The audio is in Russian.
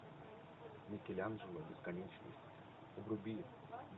микеланджело бесконечность вруби